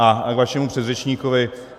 A k vašemu předřečníkovi.